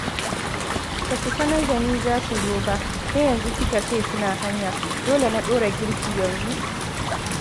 Ba su sanar da ni za su zo ba, sai yanzu suka ce suna hanya. Dole na ɗora girki yanzu